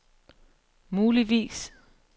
muligvis